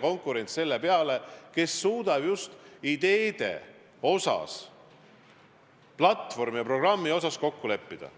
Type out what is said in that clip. konkurents selle peale, kes suudavad ideede osas, platvormi ja programmi osas kokku leppida.